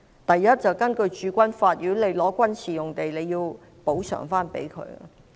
第一，根據《駐軍法》，如果收回軍事用地，便須用另一幅土地作補償。